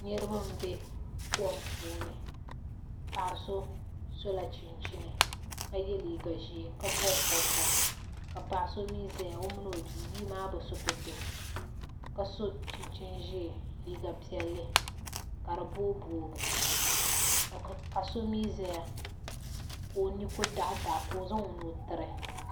Niraba n bɛ kom puuni paɣa so sola chunchini ka yɛ liiga ʒiɛ ka bob bobga ka paɣa so mii ʒɛya o mini o bia bia maa bi so pɛto ka so chinchin ʒiɛ liiga piɛlli ka di booi boogi ka so mii ʒɛya ka o ni ku daɣi daɣi ka o zaŋ o nuu tiri